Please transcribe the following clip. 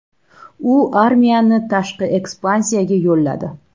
U armiyani tashqi ekspansiyaga yo‘lladi.